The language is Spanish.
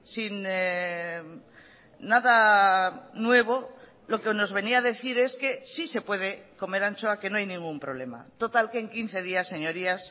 sin nada nuevo lo que nos venía a decir es que sí se puede comer anchoa que no hay ningún problema total que en quince días señorías